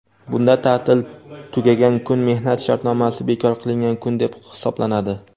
Bunda taʼtil tugagan kun mehnat shartnomasi bekor qilingan kun deb hisoblanadi.